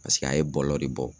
Paseke a ye bɔlɔ de bɔ